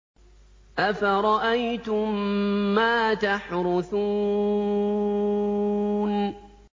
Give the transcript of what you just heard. أَفَرَأَيْتُم مَّا تَحْرُثُونَ